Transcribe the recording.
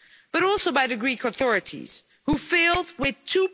But also by the Greek authorities who failed with EUR